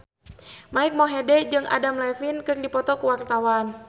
Mike Mohede jeung Adam Levine keur dipoto ku wartawan